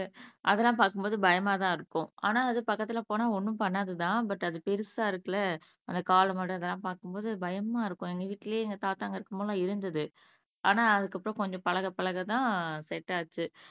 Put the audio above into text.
அதெல்லாம் பாக்கும்போது பயமாத் தான் இருக்கும் ஆனா அது பக்கத்துல போனா ஒன்னும் பண்ணாது தான் பட் அது பெருசா இருக்கு இல்ல அந்த காளை மாடு அதெல்லாம் பாக்கும்போது பயம்மா இருக்கும் எங்க வீட்லயே எங்க தாத்தா இங்க இருக்கும்போதெல்லாம் இருந்துது ஆனா அதுக்கப்புறம் கொஞ்சம் பழக பழக தான் செட் ஆச்சு